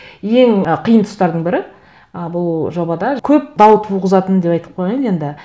ең ы қиын тұстардың бірі і бұл жобада көп дау туғызатын деп айтып қояйын енді